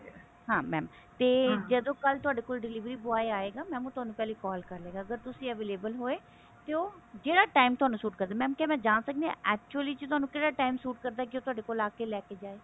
ਹਾਂ mam ਤੇ ਜਦੋਂ ਕੱਲ ਥੋਡੇ ਕੋਲ ਦੇਇਵੇਰੀ boy ਆਇਗਾ mam ਉਹ ਤੁਹਾਨੂੰ ਪਹਿਲੇ call ਕਰ ਲੇਗਾ ਅਗਰ ਤੁਸੀਂ available ਹੋਏ ਤੇ ਉਹ ਜਿਹੜਾ time ਥੋਨੂੰ ਸੂਟ ਕਰਦਾ mam ਕੀ ਮੈਂ ਜਾਂ ਸਕਦੀ ਹਾਂ actually ਚ ਥੋਨੂੰ ਕਿਹੜਾ time ਸੂਟ ਕਰਦਾ ਕੀ ਉਹ ਤੁਹਾਡੇ ਕੋਲ ਆ ਕੇ ਲੈਕੇ ਜਾਵੇ